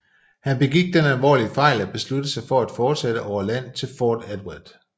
Han begik den alvorlige fejl at beslutte sig til at forsætte over land til Fort Edward